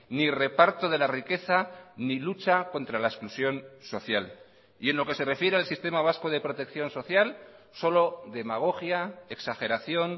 ni reparto de la riqueza ni lucha contra la exclusión social y en lo que se refiere al sistema vasco de protección social solo demagogia exageración